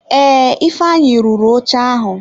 Ee, ifeanyi rụrụ oche ahụ.